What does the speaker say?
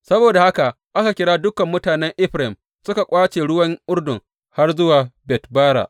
Saboda haka aka kira dukan mutanen Efraim suka ƙwace ruwan Urdun har zuwa Bet Bara.